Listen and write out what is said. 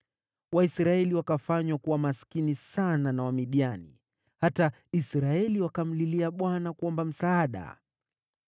Waisraeli wakafanywa kuwa maskini sana na Wamidiani, hata Israeli wakamlilia Bwana kuomba msaada.